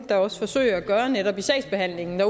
der også forsøger at gøre netop i sagsbehandlingen